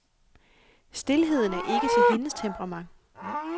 Stilheden er ikke til hendes temperament.